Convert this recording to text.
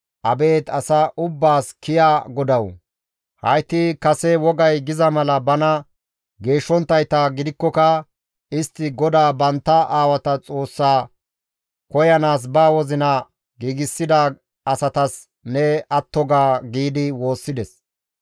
«Abeet asa ubbaas kiya GODAWU, hayti kase wogay giza mala bana geeshshonttayta gidikkoka istti GODAA bantta aawata Xoossaa koyanaas ba wozina giigsida asatas ne atto ga» giidi woossides.